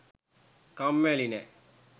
කම්මැලි නෑ.